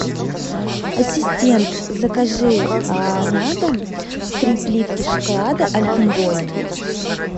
ассистент закажи на дом три плитки шоколада альпен гольд